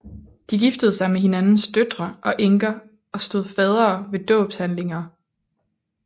De giftede sig med hinandens døtre og enker og stod faddere ved dåbshandlinger